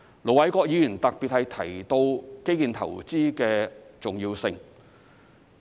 盧偉國議員特別提到基建投資的重要性。